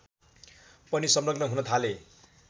पनि संलग्न हुन थाले